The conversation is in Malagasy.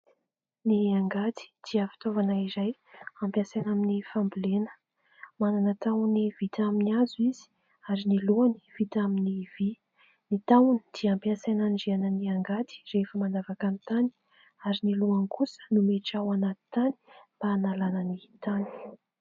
Ny angady dia fitaovana iray ampiasaina amin'ny fambolena. Manana tahony vita amin'ny hazo izy ary ny lohany vita amin'ny vỳ. Ny tahony dia ampiasaina hanindriana ny angady rehefa mandavaka ny tany ary ny lohany kosa no miditra ao anaty tany mba hanalana ny tany.